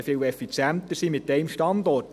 Wir könnten viel effizienter sein mit Standort.